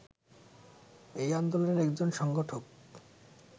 এই আন্দোলনের একজন সংগঠক